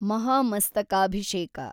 ಮಹಾಮಸ್ತಕಾಭಿಷೇಕ